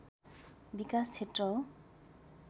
विकास क्षेत्र हो